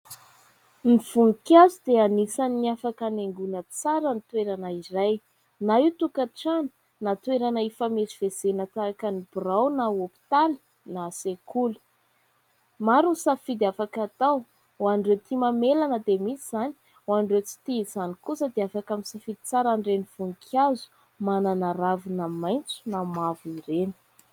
Ny voninkazo dia anisan'ny afaka hanaingona tsara ny toerana iray. Na io tokantrano na toerana ifamezivezena tahaka ny birao na hôpitaly na sekoly. Maro ny safidy afaka atao, hoan'ireo tia mamelana dia misy izany, ho an'ireo tsy tia izany kosa dia afaka misafidy tsara an'ireny voninkazo manana ravina maitso na mavo ireny.